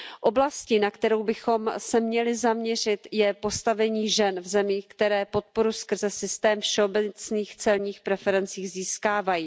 Oblastí, na kterou bychom se měli zaměřit, je postavení žen v zemích, které podporu skrze systém všeobecných celních preferencí získávají.